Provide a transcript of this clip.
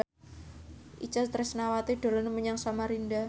Itje Tresnawati dolan menyang Samarinda